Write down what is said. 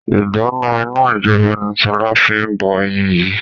Ìdáná iná ijọba ni sọlá fi bọ ẹyin yìí